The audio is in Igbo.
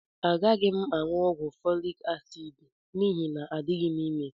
Agaghị m aṅụ ọgwụ folik asiidi n'ihi na adịghị m ime